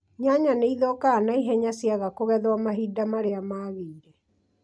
Nyanya nĩithũkaga naihenya ciaga kũgwetho mahinda marĩa magĩire